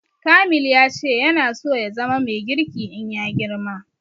Kamil ya ce yana so ya zama mai girki in ya girma